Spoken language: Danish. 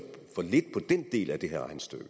for lidt på den del af det her regnestykke